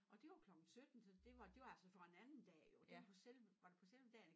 Og det var klokken 17 så det var det var altså for en anden dag jo det var på selve var det på selve dagen